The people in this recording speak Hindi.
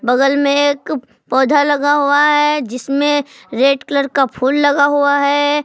बगल में एक पौधा लगा हुआ है जिसमें रेड कलर का फूल लगा हुआ है।